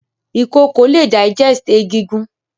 Ìkokò le digest egigun